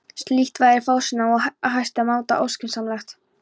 Slíkt væri fásinna og í hæsta máta óskynsamlegt.